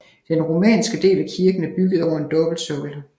Den romanske del af kirken er bygget over en dobbeltsokkel